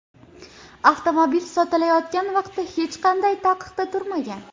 Avtomobil sotilayotgan vaqtda hech qanday taqiqda turmagan.